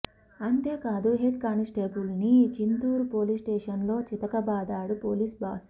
అంతే కాదు హెడ్ కానిస్టేబుల్ని చింతూరు పోలీస్ స్టేషన్లో చితకబాదాడు పోలీస్ బాస్